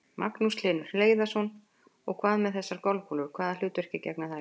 Magnús Hlynur Hreiðarsson: Og hvað með þessar golfkúlur, hvaða hlutverki gegna þær?